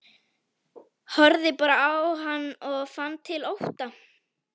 Horfði bara á hann og fann til ótta.